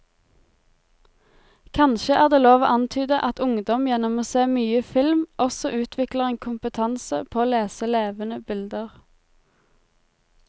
Kanskje er det lov å antyde at ungdom gjennom å se mye film også utvikler en kompetanse på å lese levende bilder.